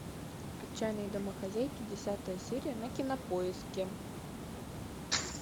отчаянные домохозяйки десятая серия на кинопоиске